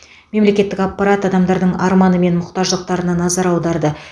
мемлекеттік аппарат адамдардың арманы мен мұқтаждықтарына назар аударды